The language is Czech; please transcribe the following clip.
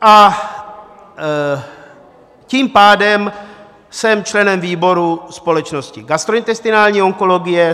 A tím pádem jsem členem výboru společnosti gastrointestinální onkologie.